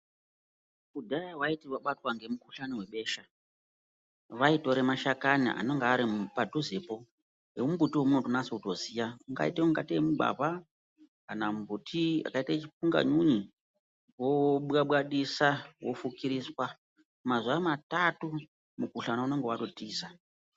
Kudhaya waiti wabatwa ngemukhuhlani webesha, vaitora mashakani anenge aripadhuzepo, emumbuti weunotonase kuziya, ungaite tei mugwavha kana mumbuti wakaite chipunganyunyu, wobwabwadiswa, wofukiriswa. Mazuva matatu, mukhuhlane unenge watotiza.